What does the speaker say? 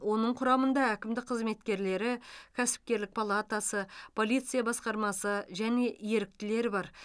оның құрамында әкімдік қызметкерлері кәсіпкерлік палатасы полиция басқармасы және еріктілер бар